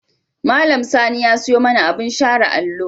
Malam Sani ya siyo mana abin share allo.